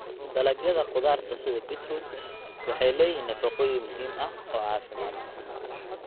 Dalagyada khudaarta sida beetroot waxay leeyihiin nafaqooyin muhiim ah oo caafimaad.